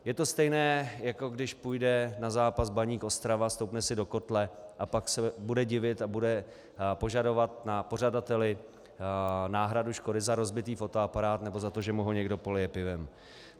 Je to stejné, jako když půjde na zápas Baník Ostrava, stoupne si do kotle a pak se bude divit a bude požadovat na pořadateli náhradu škody za rozbitý fotoaparát nebo za to, že mu ho někdo polije pivem.